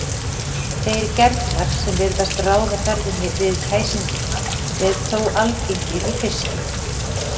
Þeir gerlar sem virðast ráða ferðinni við kæsinguna eru þó algengir í fiski.